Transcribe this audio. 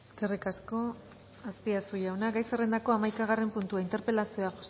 eskerrik asko azpiazu jauna gai zerrendako hamaikagarren puntua interpelazioa